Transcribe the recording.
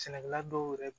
Sɛnɛkɛla dɔw yɛrɛ